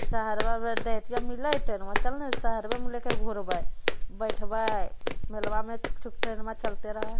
सहरवा में मिलय हेते ना चल ने सहरवे में लेके घुरवई बेठवई मेलवा में छुक छुक ट्रेन में चलते रह --